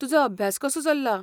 तुजो अभ्यास कसो चल्ला?